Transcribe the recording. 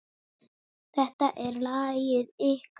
Þetta er lagið ykkar.